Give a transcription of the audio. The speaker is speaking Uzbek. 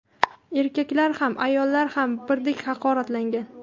Erkaklar ham, ayollar ham birdek haqoratlangan.